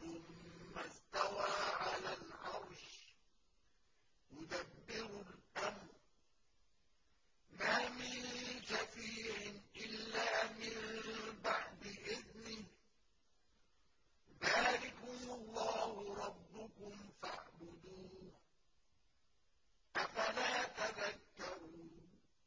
ثُمَّ اسْتَوَىٰ عَلَى الْعَرْشِ ۖ يُدَبِّرُ الْأَمْرَ ۖ مَا مِن شَفِيعٍ إِلَّا مِن بَعْدِ إِذْنِهِ ۚ ذَٰلِكُمُ اللَّهُ رَبُّكُمْ فَاعْبُدُوهُ ۚ أَفَلَا تَذَكَّرُونَ